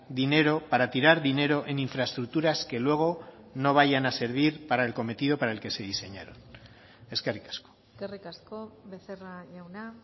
dinero para tirar dinero en infraestructuras que luego no vayan a servir para el cometido para el que se diseñaron eskerrik asko eskerrik asko becerra jauna